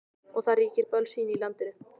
Og það ríkir bölsýni í landinu.